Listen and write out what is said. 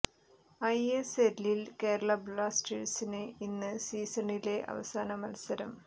I S എല്ലിൽ കേരള ബ്ലാസ്റ്റേഴ്സിന് ഇന്ന് സീസണിലെ അവസാന മത്സരം